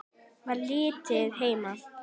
Var lítið heima.